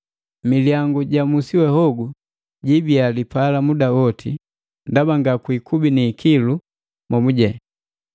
Milyangu ja musi we hogu jibia lipala muda gowa, ndaba nga kwiikubi niikilu momujene.